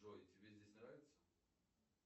джой тебе здесь нравится